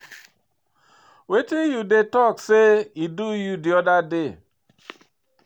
Wetin you dey talk say e do you di other day?